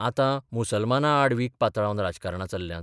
आतां मुसलमानां आड वीख पातळावन राजकारणां चल्ल्यांत.